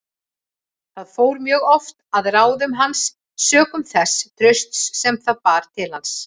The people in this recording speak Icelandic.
Það fór mjög oft að ráðum hans sökum þess trausts sem það bar til hans.